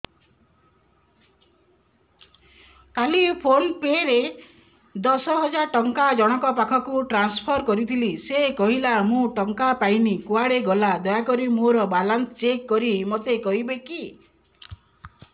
କାଲି ଫୋନ୍ ପେ ରେ ଦଶ ହଜାର ଟଙ୍କା ଜଣକ ପାଖକୁ ଟ୍ରାନ୍ସଫର୍ କରିଥିଲି ସେ କହିଲା ମୁଁ ଟଙ୍କା ପାଇନି କୁଆଡେ ଗଲା ଦୟାକରି ମୋର ବାଲାନ୍ସ ଚେକ୍ କରି ମୋତେ କହିବେ କି